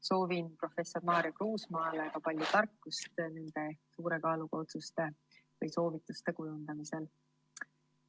Soovin professor Maarja Kruusmaale ka palju tarkust nende suure kaaluga otsuste või soovituste kujundamisel.